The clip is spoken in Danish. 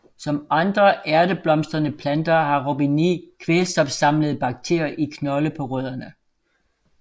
Som andre ærteblomstrede planter har Robinie kvælstofsamlende bakterier i knolde på rødderne